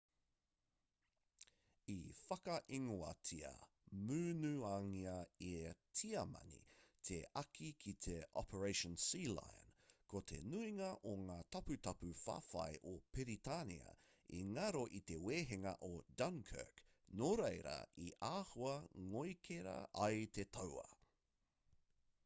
i whakaingoatia munangia e tiamani te āki ki te operation sealion ko te nuinga o ngā taputapu whawhai o piritania i ngaro i te wehenga o dunkirk nō reira i āhua ngoikera ai te tauā